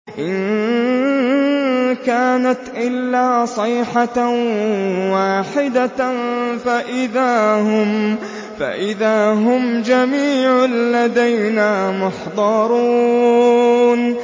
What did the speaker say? إِن كَانَتْ إِلَّا صَيْحَةً وَاحِدَةً فَإِذَا هُمْ جَمِيعٌ لَّدَيْنَا مُحْضَرُونَ